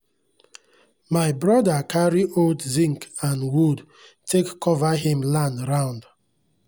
my broda carry old zinc and wood take cover him land round